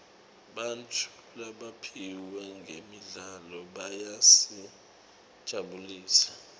bantfu labaphiwe ngemidlalo bayasijabulisa